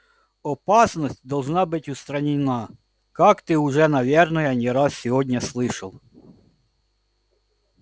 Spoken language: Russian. опасность должна быть устранена как ты уже наверное не раз сегодня слышал